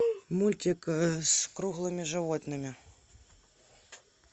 мультик с круглыми животными